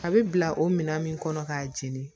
A bɛ bila o minan min kɔnɔ k'a jeni